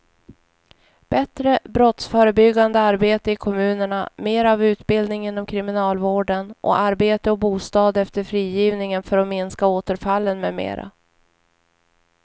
Bättre brottsförebyggande arbete i kommunerna, mera av utbildning inom kriminalvården och arbete och bostad efter frigivningen för att minska återfallen med mera.